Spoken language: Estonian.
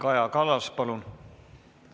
Kaja Kallas, palun!